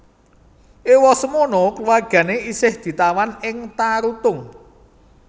Ewasemono keluargane isih ditawan ing Tarutung